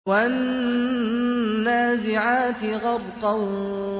وَالنَّازِعَاتِ غَرْقًا